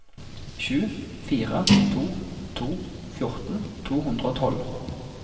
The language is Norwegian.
sju fire to to fjorten to hundre og tolv